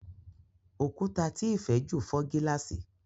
Òkúta tí Ifè jù fò gilasi.